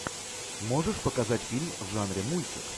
можешь показать фильм в жанре мультик